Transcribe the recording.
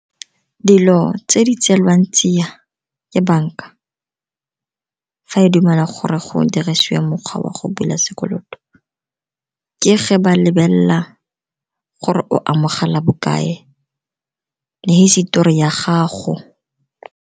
Dilo tse di tselwang tsia ke banka fa e dumela gore go dirisiwa mokgwa wa go bula sekoloto, ke ge ba lebelela gore o amogela bokae le hisitori ya gago.